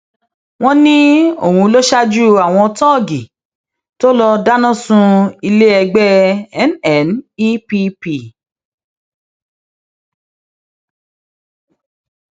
wọn ní òun ló ṣaájú àwọn tóògì tó lọọ dáná sun iléẹgbẹ nnepp